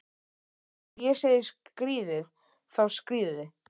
Þegar ég segi skríðið, þá skríðið þið.